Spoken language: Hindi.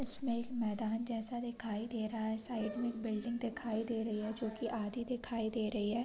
इसमें एक मैदान जैसा दिखाई दे रहा है। साइड में एक बिल्डिंग दिखाई दे रही है जो की आधी दिखाई दे रही है।